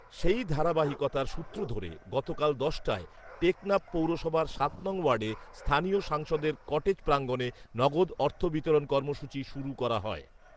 সেই ধারাবাহিকতার সূত্র ধরে গতকাল দশ টায় টেকনাফ পৌরসভার সাত নং ওয়ার্ডে স্থানীয় সাংসদের কটেজ প্রাঙ্গনে নগদ অর্থ বিতরণ কর্মসূচি শুরু করা হয়